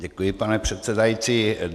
Děkuji, pane předsedající.